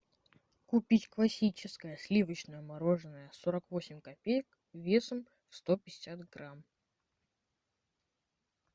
купить классическое сливочное мороженое сорок восемь копеек весом сто пятьдесят грамм